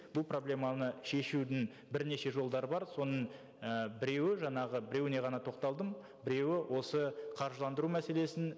бұл проблеманы шешудің бірнеше жолдары бар соның і біреуі жаңағы біреуіне ғана тоқталдым біреуі осы қаржыландыру мәселесін